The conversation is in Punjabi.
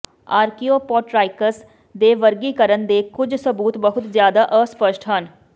ਆਰਕਿਓਪੋਟਰਾਈਕਸ ਦੇ ਵਰਗੀਕਰਨ ਦੇ ਕੁਝ ਸਬੂਤ ਬਹੁਤ ਜ਼ਿਆਦਾ ਅਸਪਸ਼ਟ ਹਨ